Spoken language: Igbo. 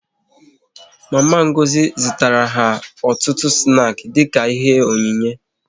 Mama Ngozi zụtara ha ọtụtụ snaki dịka ihe onyinye